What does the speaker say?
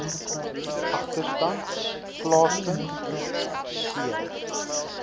agterstand plaasvind c